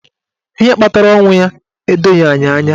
Ihe kpatara ọnwụ ya edoghi anyị anya.